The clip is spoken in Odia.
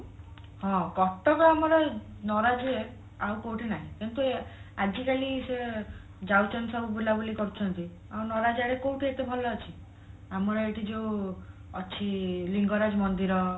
ହଁ କଟକ ଆମର ନରାଜ ଆଉ କୋଉଠି ନାହିଁ କିନ୍ତୁ ଆଜିକାଲି ସେ ଯାଉଛନ୍ତି ସବୁ ବୁଲାବୁଲି କରୁଛନ୍ତି ଆଉ ନରାଜ ଆଡେ କୋଉଠି ଏତେ ଭଲ ଅଛି ଆମର ଏଇଠି ଯୋଉ ଅଛି ଲିଙ୍ଗରାଜ ମନ୍ଦିର